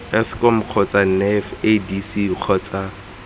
eskom kgotsa nef idc kgotsa